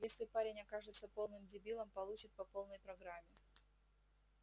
если парень окажется полным дебилом получит по полной программе